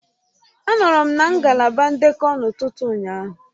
Anọọrọ m na ngalaba ndekọ n'ụtụtụ ụnyaahụ